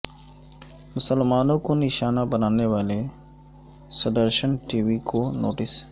مسلمانوں کو نشانہ بنانے والے سدرشن ٹی وی کو نوٹس